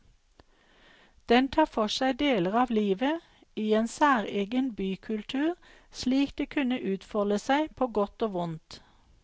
Den tar for seg deler av livet i en særegen bykultur slik det kunne utfolde seg på godt og vondt.